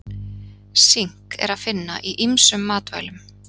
Sink er að finna í ýmsum í matvælum.